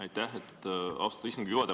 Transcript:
Aitäh, austatud istungi juhataja!